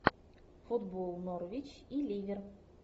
футбол норвич и ливер